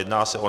Jedná se o